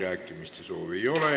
Kõnesoove ei ole.